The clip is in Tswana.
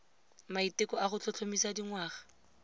maiteko a go tlhotlhomisa dingwaga